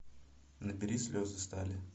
набери слезы стали